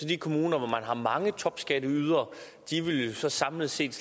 de kommuner hvor man har mange topskatteydere samlet set